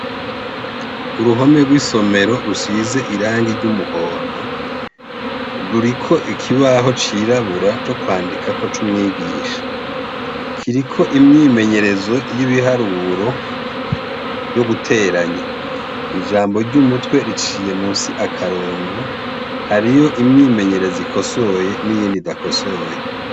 Uruhome rw'isomero rusize irangi ry'umuhondo ruriko ikibaho cirabura co kwandikako c'umwigisha kiriko imyimenyerezo y'ibiharuro ryo guteranya ijambo ry'umutwe riciye musi akarongo hario iyo imyimenyerezi ikosoye n'iyindi dakosoye.